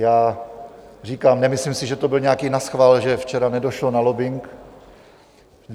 Já říkám, nemyslím si, že to byl nějaký naschvál, že včera nedošlo na lobbing.